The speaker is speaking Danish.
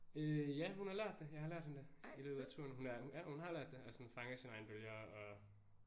Øh ja hun har lært det jeg har lært hende det i løbet af turen hun er ja hun har lært det og sådan fanger sine egne bølger og